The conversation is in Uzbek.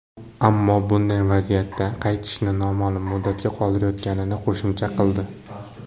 Ammo bunday vaziyatda qaytishni noma’lum muddatga qoldirayotganini qo‘shimcha qildi.